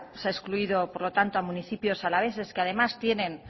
se ha excluido por lo tanto a municipios alaveses que además tienen